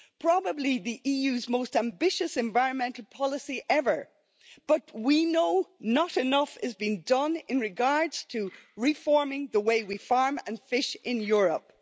Probably the EU's most ambitious environmental policy ever, but we know not enough is being done in regards to reforming the way we farm and fish in Europe.